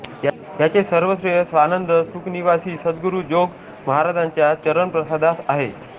याचे सर्वश्रेय स्वानंद सुखनिवासी सद्गुरू जोग महाराजांच्या चरणप्रसादास आहे